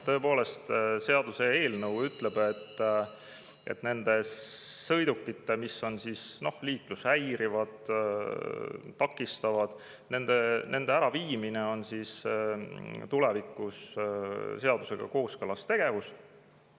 Tõepoolest, seaduseelnõu ütleb, et liiklust häirivate, takistavate sõidukite äraviimine on tulevikus seadusega kooskõlas tegevus.